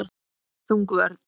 Þung vörn.